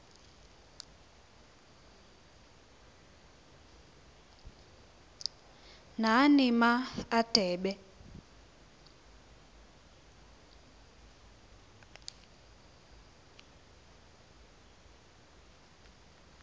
nani ma adebe